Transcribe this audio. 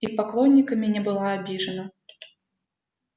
и поклонниками не была обижена